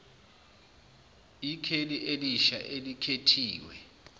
ikheli elisha elikhethiwe